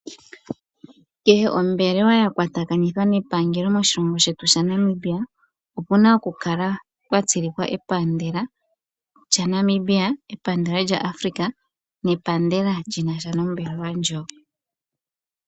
Kehe ombelewa ya kwatakanithwa nepangelo moshilongo shetu shaNamibia, opu na okukala pwa tsilikwa epandela lyaNamibia, epandela lyaAfrica nepandela lyi na sha nombelewa ndjoka.